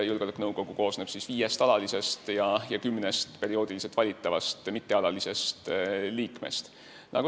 Julgeolekunõukogu koosneb viiest alalisest ja kümnest perioodiliselt valitavast mittealalisest liikmest.